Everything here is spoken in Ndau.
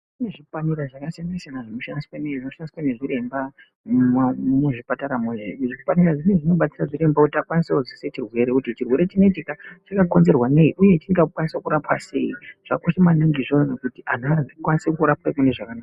Kune zvipanera zvakasiyana siyana zvinoshandiswe nezviremba muzvipataramo zvipanera zvinezvi zvinobatsire chiremba kuti akwanise kuzwisise chirwere, kuti chirwere chinechika chakakonzerwa nei uye chingakwanise kurapwa sei zvakakosha maningi izvozvo kuti anhu akwanise kurapwe munezvakanaka.